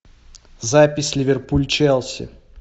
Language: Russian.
запись ливерпуль челси